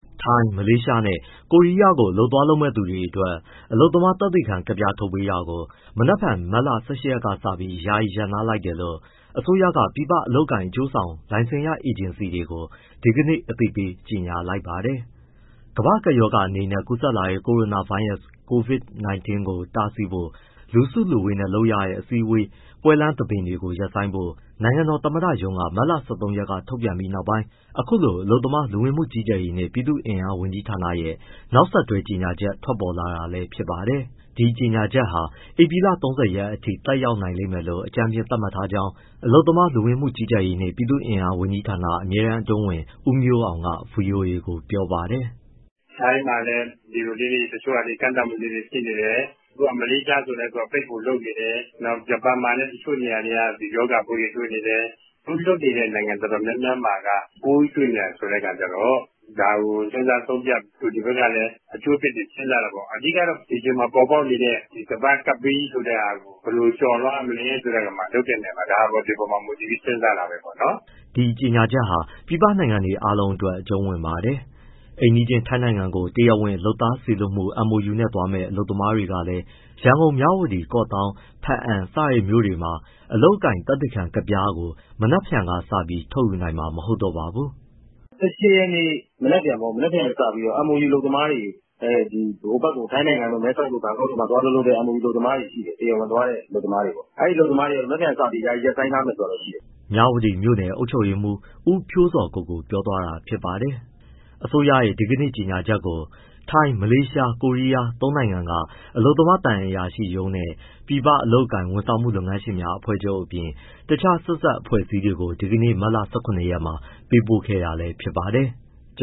ထိုင်း၊ မလေးရှားနဲ့ ကိုရီးယားကို အလုပ်သွားလုပ်မယ့်သူတွေအတွက် အလုပ်သမားသက်သေခံကဒ်ပြား ထုတ်ပေးတာကို မနက်ဖြန် မတ်လ ၁၈ ရက်ကစပြီး ယာယီရပ်နား လိုက်တယ်လို့ အစိုးရက ပြည်ပအလုပ်အကိုင် အကျိုးဆောင် လိုင်စင်ရအေဂျင်စီတွေကို ဒီကနေ့ အသိပေး ကြေညာလိုက်ပါတယ်။ ကမ္ဘာ့ကပ်ရောဂါအနေနဲ့ ကူးစက်လာတဲ့ ကိုရိုနာဗိုင်းရပ်စ် Covid-19 ကို တားဆီးဖို့ လူစုလူဝေးနဲ့ လုပ်ရတဲ့ အစည်းအဝေး၊ ပွဲလမ်းသဘင်တွေ ရပ်ဆိုင်းဖို့ နိုင်ငံတော် သမ္မတရုံးက မတ်လ ၁၃ ရက်က ထုတ်ပြန်ပြီးနောက်ပိုင်း အခုလို အလုပ်သမား၊ လူဝင်မှုကြီးကြပ်ရေးနှင့် ပြည်သူ့အင်အားဝန်ကြီးဌာနရဲ့ နောက်ဆက်တွဲ ကြေညာချက်ထွက်ပေါ်လာတာလည်း ဖြစ်ပါတယ်။ ဒီကြေညာချက်ဟာ ဧပြီလ ၃၀ ရက်အထိ သက်ရောက်နိုင်မယ်လို့ အကြမ်းဖျင်းသတ်မှတ်ထားကြောင်း အလုပ်သမား၊ လူဝင်မှုကြီးကြပ်ရေးနှင့် ပြည်သူ့အင်အား ဝန်ကြီးဌာန အမြဲတမ်းအတွင်းဝန် ဦးမျိုးအောင်က ဗွီအိုအေကို ပြောပါတယ်။ “ထိုင်းမှာလည်း ကန့်သတ်မှုလေးတွေ ရှိနေတယ်။ မလေးရှားဆိုလည်း ပိတ်ဖို့လုပ်နေတယ်။ ဂျပန်မှာလည်း တချို့နေရာတွေက ရောဂါပိုးတွေ တွေ့နေတယ်။ အခု အလုပ်သမား လွှတ်နေတဲ့ နိုင်ငံအတော်များများမှာက ပိုးတွေ့နေတယ်ဆိုတဲ့အခါကျတော့ ဒါကို စဉ်းစားဆုံးဖြတ်၊ တို့ဒီဘက်ကလည်း အကျိုးအပြစ်တွေ စဉ်းစားတာပေါ့။ အဓိကတော့ ဒီအချိန်မှာပေါ်ပေါက်နေတဲ့ ကမ္ဘာ့ ကပ်ဘေးကြီးဆိုတဲ့ဟာကို ဘယ်လိုကျော်လွှားရမလဲဆိုတာ ဒီအပေါ်မှာ မူတည်ပြီး စဉ်းစားတာပေါ့။” ဒီကြေညာချက်ဟာ ပြည်ပနိုင်ငံတွေအားလုံးအတွက် အကျုံးဝင်ပါတယ်။ အိမ်နီးချင်း ထိုင်းနိုင်ငံကို တရားဝင်လုပ်သားစေလွှတ်မှု MoU နဲ့သွားမယ့် အလုပ်သမားတွေလည်း ရန်ကုန်၊ မြဝတီ၊ ကော့သောင်း၊ ဘားအံ စတဲ့မြို့တွေမှာ အလုပ်အကိုင် သက်သေခံကဒ်ပြားကို မနက်ဖြန်ကစပြီး ထုတ်ယူနိုင်မှာ မဟုတ်တော့ပါဘူး။ “၁၈ ရက် မနက်ဖြန်က စပြီးတော့ MoU အလုပ်သမားတွေ ထိုင်းနိုင်ငံ မဲဆောက်တို့၊ ဘန်ကောက်တို့မှာ သွားအလုပ်လုပ်တဲ့ MoU အလုပ်သမားတွေ ရှိတယ်။ တရားဝင်သွားတဲ့ အလုပ်သမားတွေပေါ့... အဲအလုပ်သမားတွေ မနက်ဖြန်ကစပြီး ယာယီရပ်ဆိုင်းထားမယ် ဆိုတာတော့ရှိတယ်။” မြဝတီမြို့နယ် အုပ်ချုပ်ရေးမှုး ဦးဖြိုးဇော်ကိုကို ပြောသွားတာဖြစ်ပါတယ်။ အစိုးရရဲ့ ဒီကနေ့ကြေညာချက်ကို သုံးနိုင်ငံက အလုပ်သမား သံအရာရှိရုံးနဲ့ ပြည်ပအလုပ်အကိုင် ဝန်ဆောင်မှု လုပ်ငန်းရှင်များအဖွဲ့ချုပ် အပြင် တခြား ဆက်စပ် အဖွဲ့အစည်းတွေကို ဒီကနေ့ မတ်လ ၁၇ ရက်မှာ ပေးပို့ခဲ့တာလည်း ဖြစ်ပါတယ်။